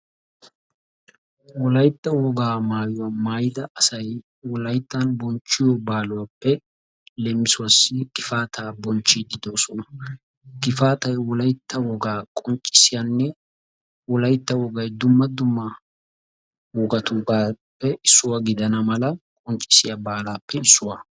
Wolaytta wogaa maayuwa maayida asaay wolayttan bochchiyo baalaappe; leemisuwasi Gifaataa bonchchidi de'osona. Gifaataay wolaytta wogaa qonccissiyane wolaytta wogaay dumma dumma wogaatugape issuwa gidanamala qonccissiya baalaappe issuwaa.